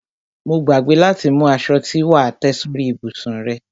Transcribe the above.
Mo gbàgbé láti mú aṣo tí wà á tẹ́ sórí ìbùsùn rẹ.